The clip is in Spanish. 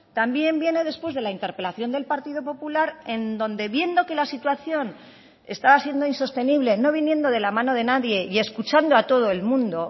también viene después de la interpelación del partido popular en donde viendo que la situación estaba siendo insostenible no viniendo de la mano de nadie y escuchando a todo el mundo